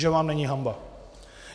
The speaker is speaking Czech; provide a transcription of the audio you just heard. Že vám není hanba!